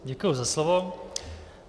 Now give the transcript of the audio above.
Děkuji za slovo.